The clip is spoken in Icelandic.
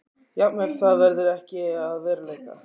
Jafnvel það verður ekki að veruleika.